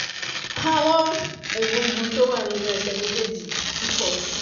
àwọn egungun tó wà nínú ẹsẹ̀ méjèèjì ti pọ̀ sí i